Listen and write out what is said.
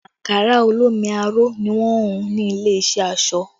Ankara olómi aró ni wọn hùn ní ilé iṣẹ́ aṣọ